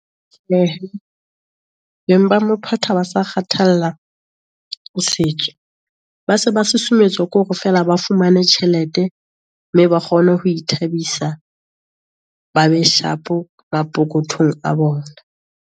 Beng ba mophota ha ba sa kgathalla ho setso, ba se ba susumetswa ke hore feela ba fumane tjhelete, mme ba kgone ho ithabisa, ba be sharp mapokothong a bona.